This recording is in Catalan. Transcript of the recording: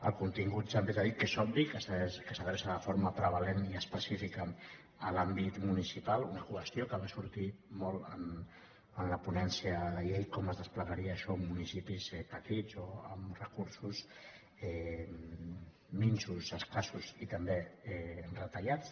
el contingut també s’ha dit que és obvi que s’adreça de forma prevalent i específica a l’àmbit municipal una qüestió que va sortir molt en la ponència de la llei com es desplegaria això en municipis petits o amb recursos minsos escassos i també retallats